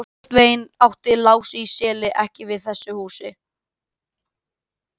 Svo virðist sem að pósitífismi hafi í samtímanum tekið á sig mynd skammaryrðis.